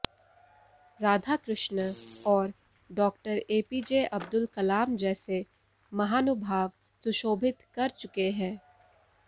राधाकृष्णन और डा एपीजे अब्दुल कलाम जैसे महानुभाव सुशोभित कर चुके हैं